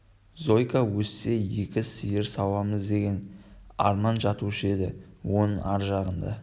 зойка өссе екі сиыр сауамыз деген арман жатушы еді оның ар жағында